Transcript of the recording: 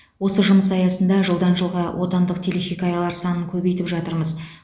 осы жұмыс аясында жылдан жылға отандық телехикаялар санын көбейтіп жатырмыз